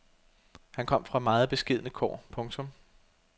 Han kom fra meget beskedne kår. punktum